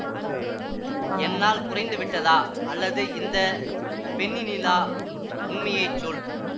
என்னால் குறைந்துவிட்டதா அல்லது இந்த பெண்ணினிலா உண்மையை சொல்